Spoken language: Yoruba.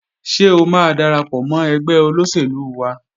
Ṣé o máa darapọ̀ mọ́ ẹgbẹ́ olóṣèlú wa?